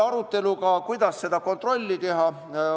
Arutelul oli ka see, kuidas seda kontrolli teha.